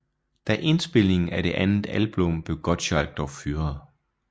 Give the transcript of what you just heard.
Da indspilningen af det andet album blev Gottschalk dog fyret